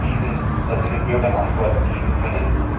Wir haben bewiesen, dass wir den Bürgern Antworten geben können.